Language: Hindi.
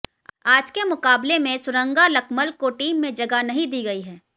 आज के मुकाबले में सुरंगा लकमल को टीम में जगह नहीं दी गई है